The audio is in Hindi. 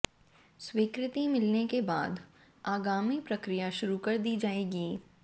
स्वीकृति मिलने के बाद आगामी प्रक्रिया शुरू कर दी जाएगी